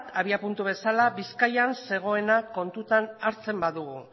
abiapuntu bezala bizkaian zegoena kontuak hartzen badugu